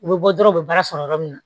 U bɛ bɔ dɔrɔn u bɛ baara sɔrɔ yɔrɔ min na